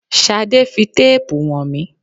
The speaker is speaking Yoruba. Ṣadé fi téèpu wọn mí.